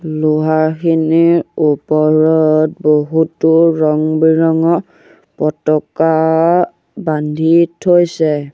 লোহাখিনিৰ ওপৰত বহুতো ৰঙ বিৰঙৰ পতকা বান্ধি থৈছে।